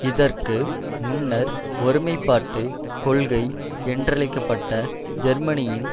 இதற்கு முன்னர் ஒருமைப்பாட்டு கொள்கை என்றழைக்க பட்ட ஜெர்மனியின்